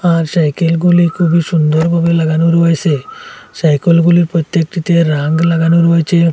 আর সাইকেলগুলি খুবই সুন্দরভাবে লাগানো রয়েসে সাইকেলগুলি প্রত্যেকটিতে রাঙ লাগানো রয়েছে।